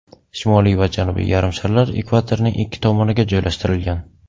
Shimoliy va Janubiy yarimsharlar ekvatorning ikki tomoniga joylashtirilgan.